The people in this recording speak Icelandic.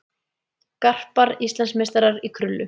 Garpar Íslandsmeistarar í krullu